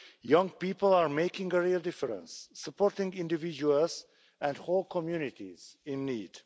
Young people are making a real difference, supporting individuals and whole communities in need.